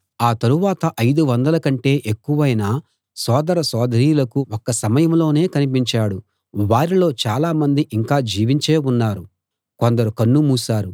ఆ తరువాత ఐదు వందలకంటే ఎక్కువైన సోదర సోదరీలకు ఒక్క సమయంలోనే కనిపించాడు వారిలో చాలామంది ఇంకా జీవించే ఉన్నారు కొందరు కన్ను మూశారు